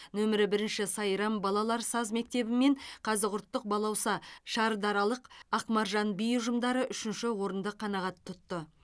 нөмірі бірінші сайрам балалар саз мектебі мен қазығұрттық балауса шардаралық ақмаржан би ұжымдары ұшінші орынды қанағат тұтты